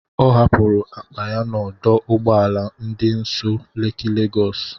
Ọ hapụrụ akpa ya n'ọdụ ụgbọ ala dị nso Leki Legọs.